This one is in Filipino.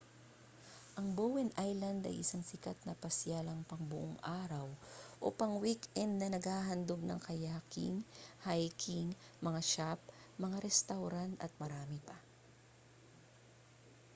ang bowen island ay isang sikat na pasyalang pangbuong-araw o pang-weekend na naghahandog ng kayaking hiking mga shop mga restawran at marami pa